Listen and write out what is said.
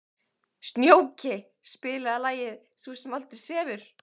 Snjóki, spilaðu lagið „Sú sem aldrei sefur“.